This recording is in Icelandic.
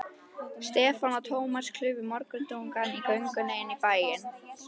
Stefán og Thomas klufu morgundrungann á göngunni inn í bæinn.